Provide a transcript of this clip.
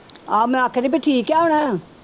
ਆਹੋ ਮੈਂ ਆਖਿਆ ਸੀ ਵੀ ਠੀਕ ਆ ਹੁਣ।